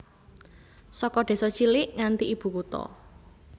Saka désa cilik nganti ibu kutha